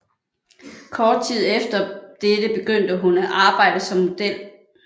Kort tid efter dette begyndte hun at arbejde som model